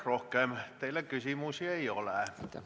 Rohkem teile küsimusi ei ole.